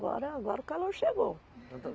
Agora, agora o calor chegou.